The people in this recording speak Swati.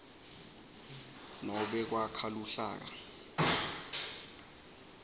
nobe kwakha luhlaka